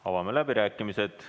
Avame läbirääkimised.